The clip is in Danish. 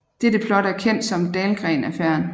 Dette plot er kendt som Dahlgren Affæren